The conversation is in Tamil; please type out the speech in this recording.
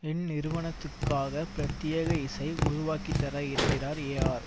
இந்நிறுவனத்துக்காக பிரத்யேக இசை உருவாக்கிதர இருக்கிறார் ஏஆர்